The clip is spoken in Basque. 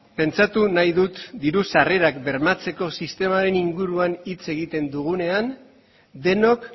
pentsatu nahi dut diru sarrerak bermatzeko sistemaren inguruan hitz egiten dugunean denok